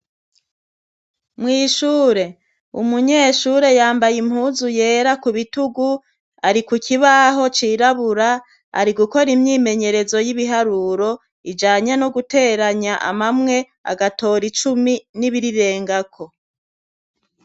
Mwishure umunyeshure yambaye impuzu yera ku bitugu ari ku kibaho cirabura ari gukora imyimenyerezo y'ibiharuro ijanye no guteranya amamwe agatora icumi n'ibirirengako.